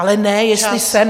Ale ne, jestli jsem...